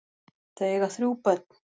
Þau eiga þrjú börn.